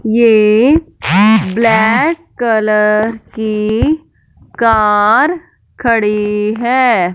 ये black colour की car खड़ी है।